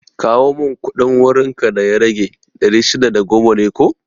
Kawo mun kuɗin wurin ka da ya rage, ɗari shida da goma ne ko?